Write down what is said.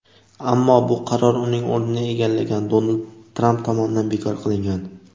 ammo bu qaror uning o‘rnini egallagan Donald Tramp tomonidan bekor qilingan.